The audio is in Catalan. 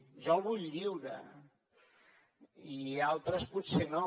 jo el vull lliure i altres potser no